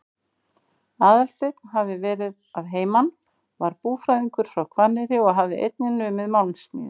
Aðalsteinn hafði verið að heiman, var búfræðingur frá Hvanneyri og hafði einnig numið málmsmíði.